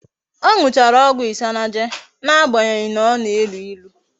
O nuchara ogwu isanaje na-agbanyeghi na o na-elu ilu